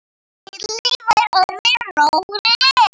Lilla var orðin róleg.